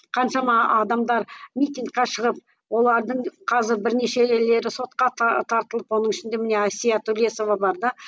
қаншама адамдар митингке шығып олардың қазір сотқа тартылып оның ішінде міне әсия төлесова бар да